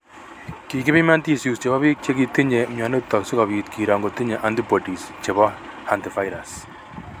Kikipiman tissues chebo biik chekitinye mionitok sikobit kiro ngotinye antibodies chebo hantavirus